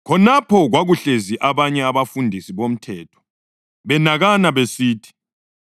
Khonapho kwakuhlezi abanye abafundisi bomthetho, benakana besithi,